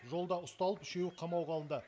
жолда ұсталып үшеуі қамауға алынды